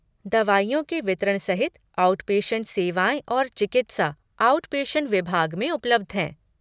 दवाइयों के वितरण सहित आउटपेशेन्ट सेवाएँ और चिकित्सा, आउटपेशेन्ट विभाग में उपलब्ध हैं।